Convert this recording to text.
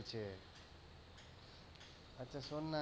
চলছে আচ্ছা শোন না,